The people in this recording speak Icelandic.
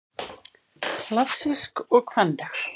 Klassísk og kvenleg